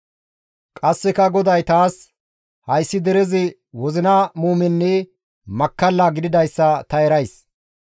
Qasseka GODAY taas, «Hayssi derezi wozina muumenne makkalla gididayssa ta erays.